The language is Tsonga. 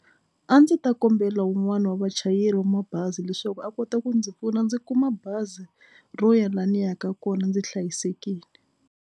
A ndzi ta kombela wun'wani wa vachayeri wa mabazi leswaku a kota ku ndzi pfuna ndzi kuma bazi ro ya la ni yaka kona ndzi hlayisekile.